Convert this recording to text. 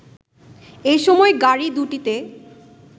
এ সময় গাড়ি দুটিতে